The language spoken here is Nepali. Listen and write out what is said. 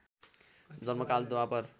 जन्मकाल द्वापर